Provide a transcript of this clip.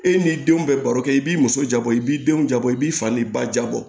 E n'i denw bɛ baro kɛ i b'i muso bɔ i b'i denw jabɔ i b'i fa ni ba jabɔ